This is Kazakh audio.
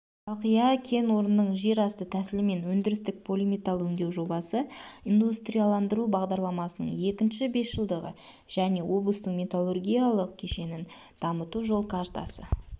шалқия кен орнының жер асты тәсілімен өндірістік полиметалл өңдеу жобасы индустрияландыру бағдарламасының екінші бесжылдығы және облыстың металлургиялық кешенін дамыту жол картасы